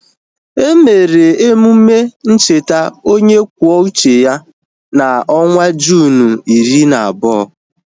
Emere emume ncheta onye kwuo uche ya na onwa Juunu iri na abụọ